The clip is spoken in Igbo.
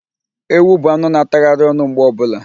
Ewu bụ anụ na- atagharị ọnụ mgbe ọbụla.